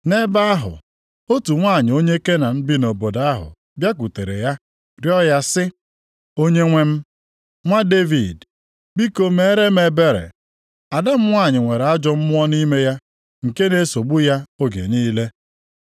Nʼebe ahụ, otu nwanyị onye Kenan bi nʼobodo ahụ bịakwutere ya rịọọ ya sị, “Onyenwe m, nwa Devid, biko meere m ebere. Ada m nwanyị nwere ajọ mmụọ nʼime ya nke na-esogbu ya oge niile.”